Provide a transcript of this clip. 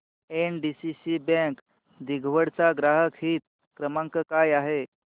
NDCC bank दिघवड चा ग्राहक हित क्रमांक काय आहे